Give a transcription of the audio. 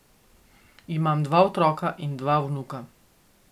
Ima dva otroka in dva vnuka.